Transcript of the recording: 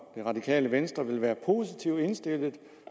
det radikale venstre vil være positivt indstillet